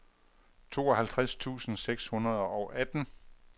tooghalvtreds tusind seks hundrede og atten